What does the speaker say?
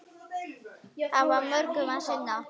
Hafa mörgu að sinna.